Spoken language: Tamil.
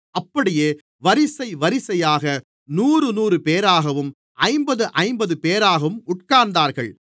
அப்படியே வரிசை வரிசையாக நூறுநூறுபேராகவும் ஐம்பதுஐம்பதுபேராகவும் உட்கார்ந்தார்கள்